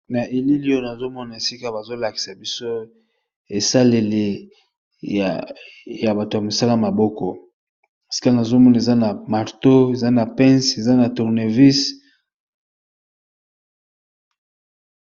na elili oyono azomona esika bazolakisa biso esaleli ya bato ya misala maboko sikangazomun eza na marto eza na pence eza na tournevis